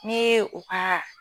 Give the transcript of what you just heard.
N'e ye u ka